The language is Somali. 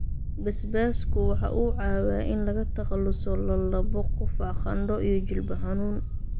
Basbaasku waxa uu caawiyaa in laga takhaluso lallabbo, qufac, qandho iyo jilbo xanuun